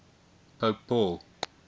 pope paul